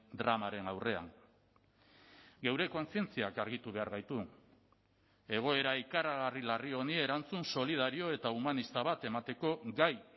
dramaren aurrean geure kontzientziak argitu behar gaitu egoera ikaragarri larri honi erantzun solidario eta humanista bat emateko gai